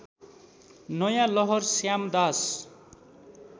नयाँ लहर श्यामदास